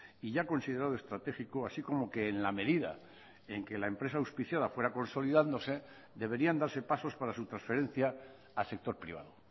y ya considerado estratégico así como que en la medida en que la empresa auspiciada fuera consolidándose deberían darse pasos para su transferencia al sector privado